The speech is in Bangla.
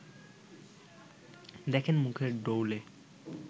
দেখেন মুখের ডৌলে